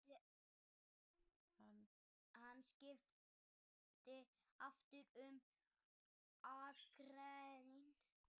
Hann skipti aftur um akrein.